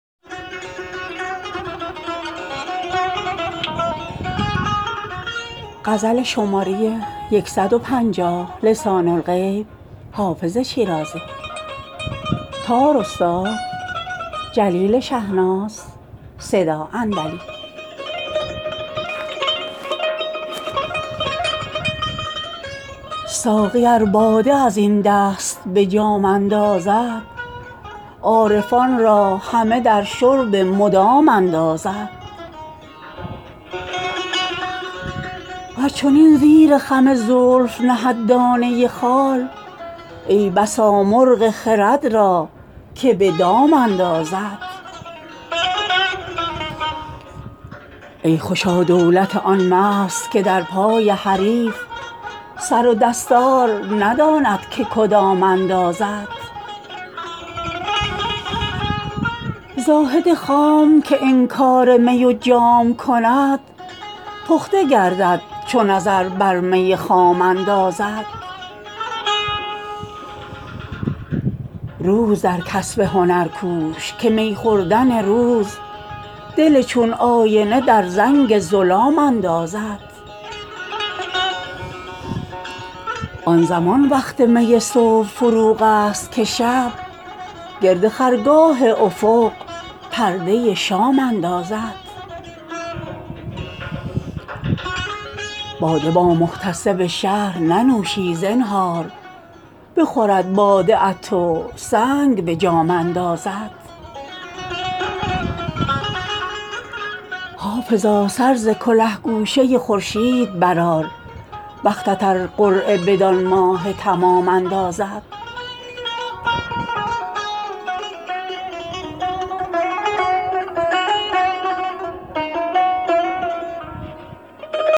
ساقی ار باده از این دست به جام اندازد عارفان را همه در شرب مدام اندازد ور چنین زیر خم زلف نهد دانه خال ای بسا مرغ خرد را که به دام اندازد ای خوشا دولت آن مست که در پای حریف سر و دستار نداند که کدام اندازد زاهد خام که انکار می و جام کند پخته گردد چو نظر بر می خام اندازد روز در کسب هنر کوش که می خوردن روز دل چون آینه در زنگ ظلام اندازد آن زمان وقت می صبح فروغ است که شب گرد خرگاه افق پرده شام اندازد باده با محتسب شهر ننوشی زنهار بخورد باده ات و سنگ به جام اندازد حافظا سر ز کله گوشه خورشید برآر بختت ار قرعه بدان ماه تمام اندازد